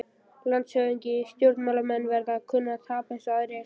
LANDSHÖFÐINGI: Stjórnmálamenn verða að kunna að tapa eins og aðrir.